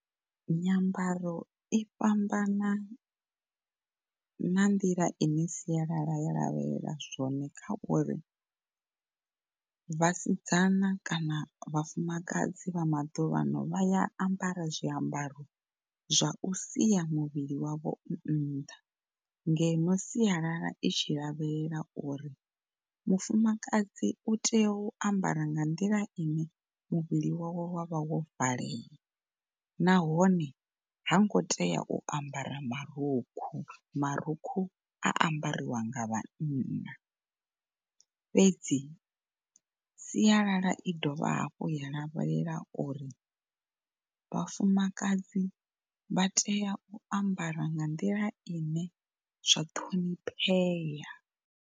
Nyambaro i fhambana na nḓila ine siala ya lavhelela zwone kha uri vhasidzana kana vhafumakadzi vha maḓuvha vha ya ambara zwiambaro zwa u sia muvhili wavho u nnḓa, ngeno sialala itshi lavhelela uri mufumakadzi u tea u ambara nga nḓila ine muvhili wawe wa vha wo valea nahone hango tea u ambara marukhu, marukhu a ambariwa nga vhanna. Fhedzi sialala i dovha hafhu ya lavhelela uri vhafumakadzi vha tea u ambara nga nḓila ine zwa ṱhoniphea.